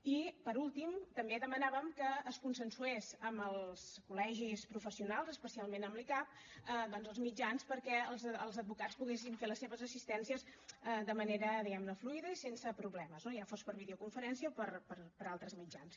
i per últim també demanàvem que es consensués amb els col·legis professionals especialment amb l’icab doncs els mitjans perquè els advocats poguessin fer la seves assistències de manera diguem ne fluida i sense problemes no ja fos per videoconferència o per altres mitjans